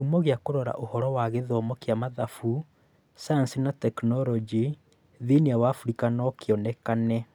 Kĩhumo kĩa kũrora ũhoro wa gĩthomo kĩa Mathafu, Sayansi na Tekinoronjĩ thĩinĩ wa Abirika no kĩonekane